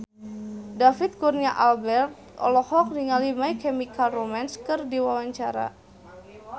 David Kurnia Albert olohok ningali My Chemical Romance keur diwawancara